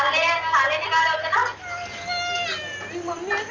ती mummy हेत